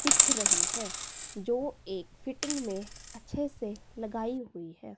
दिख रही है जो एक फिटिंग में अच्छे से लगाई हुई है।